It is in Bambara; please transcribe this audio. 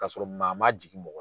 Kasɔrɔ maa ma jigin mɔgɔ